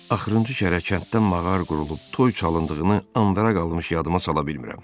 Axırıncı kərə kənddə mağar qurulub, toy çalındığını ambaraya qalmış yadıma sala bilmirəm.